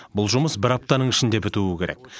бұл жұмыс бір аптаның ішінде бітуі керек